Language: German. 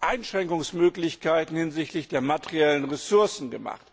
Einschränkungsmöglichkeiten hinsichtlich der materiellen Ressourcen gemacht.